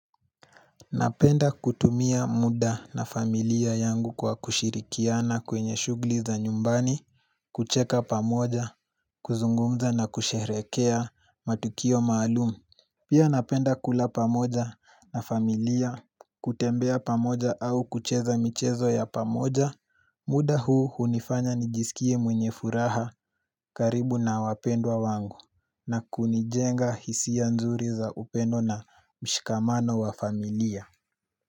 Napenda kutumia muda na familia yangu kwa kushirikiana kwenye shughuli za nyumbani, kucheka pamoja, kuzungumza na kusherehekea matukio maalumu Pia napenda kula pamoja na familia kutembea pamoja au kucheza michezo ya pamoja, muda huu hunifanya nijisikie mwenye furaha karibu na wapendwa wangu na kunijenga hisia nzuri za upendo na mshikamano wa familia.